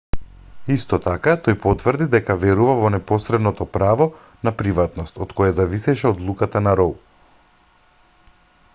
исто така тој потврди дека верува во неспорното право на приватност од кое зависеше одлуката на роу